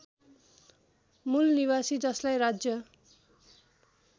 मूलनिवासी जसलाई राज्य